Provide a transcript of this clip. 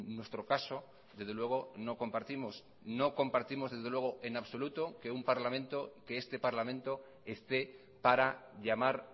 nuestro caso desde luego no compartimos no compartimos en absoluto que un parlamento que este parlamento esté para llamar